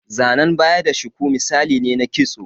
Zanan baya da shuku misalai ne na kitso.